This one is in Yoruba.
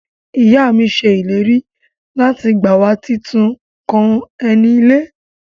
Iya mi se ileri lati gba wa titun kan eni ile.